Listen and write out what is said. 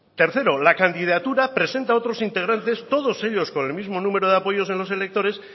tercero la candidatura presenta otros integrantes todos ellos con el mismo número de apoyos en los electores